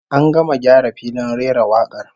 An gama gyara filin rera wakar